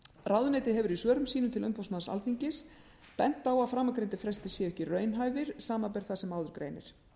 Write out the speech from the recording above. ráðuneytið hefur í svörum sínum til umboðsmanns alþingis bent á að framangreindir frestir séu ekki raunhæfir samanber það sem áður greinir